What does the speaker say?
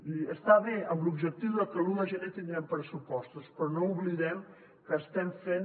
i està bé amb l’objectiu de que l’un de gener tinguem pressupostos però no oblidem que estem fent